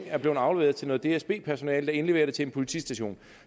er blevet afleveret til noget dsb personale der indleverer det til en politistation